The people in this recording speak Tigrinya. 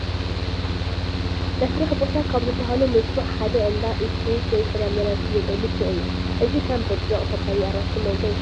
ናይ ስራሕ ቦታ ካብ ዝባሃሉ ምልኩዕ ሓደ እንዳ ኢት- ፍሩት ወይ ፍራምረ ዝሽየጠሉ ሱቕ እዩ፡፡ ኣብዚ ከም ብርጭቕ፣ ፓፓየ፣ ኣራንሽን ማንጎን ይሽየጡ፡፡